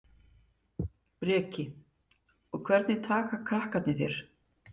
Breki: Og hvernig taka krakkarnir þér?